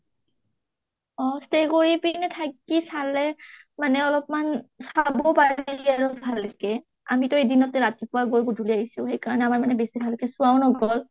stay কৰি পিনে থাকি চালে মানে অলপমান চাব পাৰি আৰু ভালকে, আমিটো এদিনতে ৰাতিপুৱা গৈ গধূলি আহিছোঁ। সেইকাৰণে আমাৰ মানে বেছি ভালকে চোৱাও নগল।